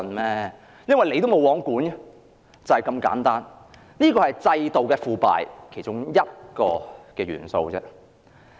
連政府也是"無皇管"，這是制度腐敗的其中一個元素。